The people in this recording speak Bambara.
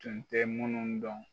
Tunj tɛ munnu dɔn.